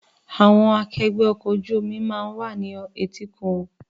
Àwọn akẹgbẹ́ ọkọ̀ ojú omi náà wà ní etíkun.